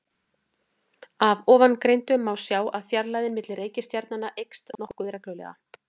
Af ofangreindu má sjá að fjarlægðin milli reikistjarnanna eykst nokkuð reglulega.